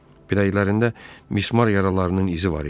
Biləklərində mismar yaralarının izi var idi.